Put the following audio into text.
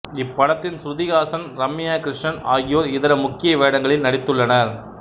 இப்படத்தில் சுருதி ஹாசன் ரம்யா கிருஷ்ணன் ஆகியோர் இதர முக்கிய வேடங்களில் நடித்துள்ளனர்